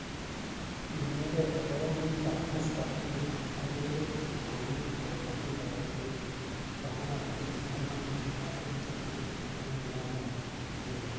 iimekei akopo meet ap Mr.Floyd ak rirek chik komi kopoto pik ap Floyd. " Komwaa Attorny Amanda Mason-Sekula ing niaba nyi.